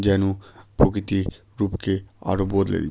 যেন প্রকৃতি রূপকে আরও বদলে দি--